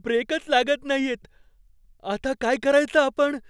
ब्रेकच लागत नाहीयेत. आता काय करायचं आपण?